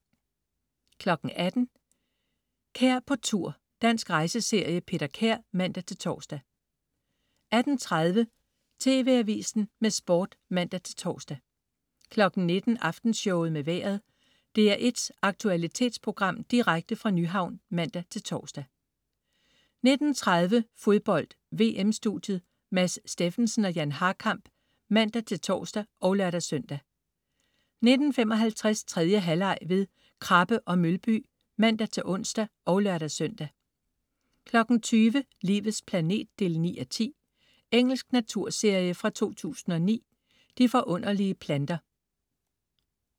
18.00 Kær på tur. Dansk rejseserie. Peter Kær (man-tors) 18.30 TV Avisen med Sport (man-tors) 19.00 Aftenshowet med Vejret. DR1's aktualitetsprogram direkte fra Nyhavn (man-tors) 19.30 Fodbold: VM-studiet. Mads Steffensen og Jan Harkamp (man-tors og lør-søn) 19.55 3. halvleg ved Krabbe & Mølby (man-ons og lør-søn) 20.00 Livets planet 9:10. Engelsk naturserie fra 2009. "De forunderlige planter"